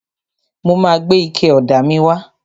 Mo ma gbé ike ọ̀dà míì wá.